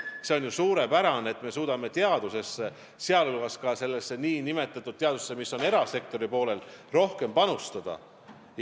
See on ju suurepärane, et me suudame teadusesse, sh sellesse nn teadusesse, mis on erasektori poolel, rohkem panustada.